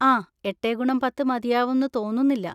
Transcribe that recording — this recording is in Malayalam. ആ, എട്ടേ ഗുണം പത്ത് മതിയാവുംന്ന് തോന്നുന്നില്ല.